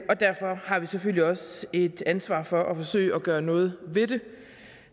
og derfor har vi selvfølgelig også et ansvar for at forsøge at gøre noget ved det